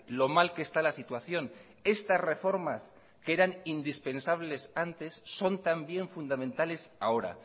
lo mal que está la situación estas reformas que eran indispensables antes son también fundamentales ahora